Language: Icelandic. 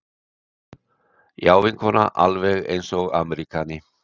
Já, vinkona, alveg eins og ameríkani.